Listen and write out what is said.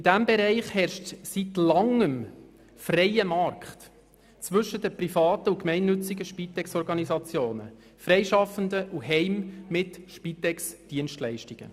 In diesem Bereich herrscht seit Langem ein freier Markt zwischen privaten und gemeinnützigen Spitexorganisationen sowie Freischaffenden und Heimen mit Spitexdienstleistungen.